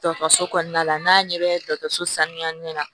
Dɔkɔtɔrɔso kɔnɔna la n'a ɲɛ bɛ dɔgɔtɔrɔso sanuya ɲɛna